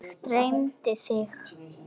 Mig dreymdi þig.